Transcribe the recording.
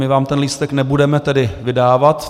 My vám ten lístek nebudeme tedy vydávat.